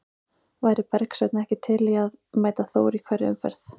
Væri Bergsveinn ekki til í að mæta Þór í hverri umferð?